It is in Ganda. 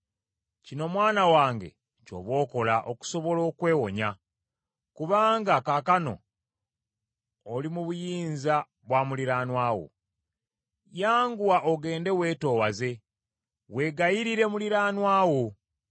kino mwana wange ky’oba okola okusobola okwewonya, kubanga kaakano oli mu buyinza bwa muliraanwa wo: Yanguwa, ogende weetoowaze, weegayirire muliraanwa wo.